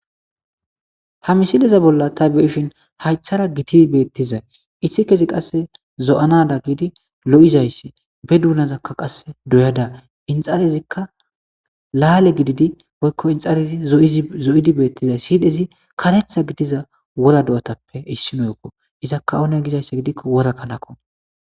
ha misileza bolla ta be7ishin haythara giti beettizay issi kesi qasse zo7anada giidi lo7izayssi be duunazakka qasse doyada inxarezikka laale gididi woykko inxarezi zo7idi beettizay siydezi katetha gidiza wora do7otappe issimoykko iza kaone gizayssa gidikko wora kanakko